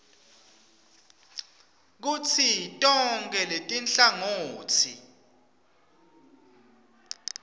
kutsi tonkhe letinhlangotsi